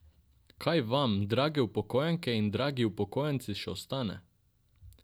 Kaj vam, drage upokojenke in dragi upokojenci, še ostane?